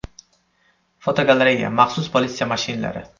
Fotogalereya: Maxsus politsiya mashinalari.